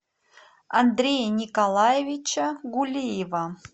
андрея николаевича гулиева